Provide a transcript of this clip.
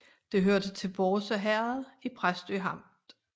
Det hørte til Bårse Herred i Præstø Amt